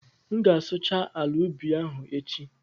M ga-asụcha ala ubi ahụ echi